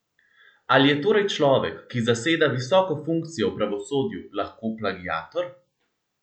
Ali je torej človek, ki zaseda visoko funkcijo v pravosodju, lahko plagiator?